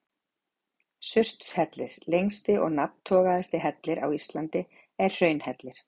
Surtshellir, lengsti og nafntogaðasti hellir á Íslandi, er hraunhellir.